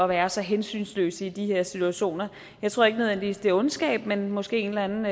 være så hensynsløse i de her situationer jeg tror ikke nødvendigvis det er ondskab men måske en eller anden